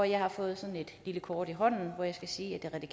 jeg har fået sådan et lille kort i hånden hvor jeg skal sige at det